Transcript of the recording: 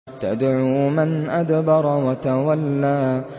تَدْعُو مَنْ أَدْبَرَ وَتَوَلَّىٰ